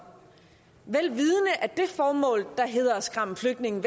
vel vidende at det formål at skræmme flygtninge